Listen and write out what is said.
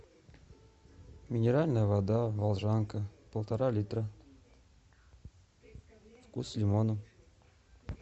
минеральная вода волжанка полтора литра вкус лимона